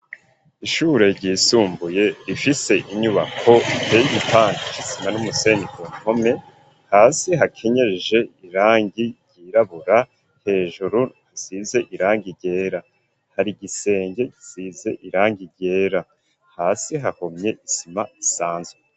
Ishure ryisumbuye, rifise inyubako, iteye igipande c’isima n'umusenyi, ku mpome; hasi hakenyeje, irangi ryirabura; hejuru hasize irangi ryera; hari igisenge gisize irangi ryera, hasi hahomye isima isanzwe.